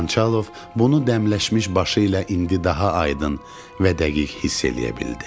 Xançalov bunu dəmləşmiş başı ilə indi daha aydın və dəqiq hiss eləyə bilirdi.